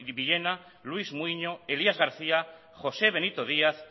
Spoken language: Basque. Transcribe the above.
villena luis muiño elías garcía josé benito díaz